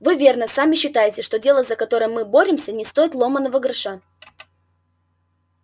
вы верно сами считаете что дело за которое мы боремся не стоит ломаного гроша